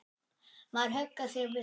Maður huggar sig við það.